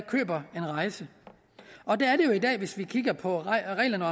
køber en rejse hvis vi kigger på reglerne